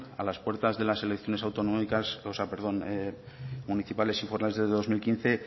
a las puertas de las elecciones autonómicas perdón municipales y forales de dos mil quince